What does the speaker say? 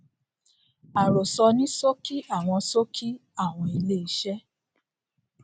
àròsọ ní ṣókí àwọn ṣókí àwọn ilé iṣẹ